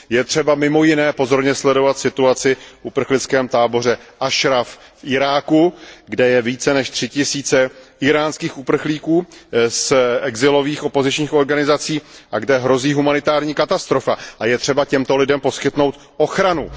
Je třeba mimo jiné pozorně sledovat situaci v uprchlickém táboře Ašraf v Iráku, kde je více než 3 tisíce íránských uprchlíků z exilových opozičních organizací a kde hrozí humanitární katastrofa, a je třeba těmto lidem poskytnout ochranu.